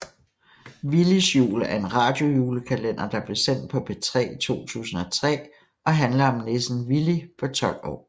Villys jul er en radiojulekalender der blev sendt på P3 i 2003 og handler om nissen Villy på 12 år